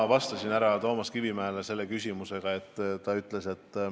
Ma vastasin sel teemal härra Toomas Kivimägi küsimusele.